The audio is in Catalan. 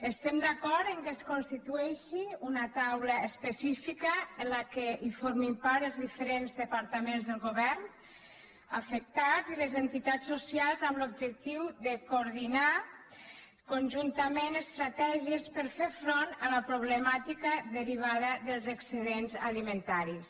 estem d’acord que es constitueixi una taula específica de què formin part els diferents departaments del govern afectats i les entitats socials amb l’objectiu de coordinar conjuntament estratègies per a fer front a la problemàtica derivada dels excedents alimentaris